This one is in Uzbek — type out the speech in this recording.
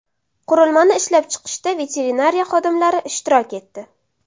Qurilmani ishlab chiqishda veterinariya xodimlari ishtirok etdi.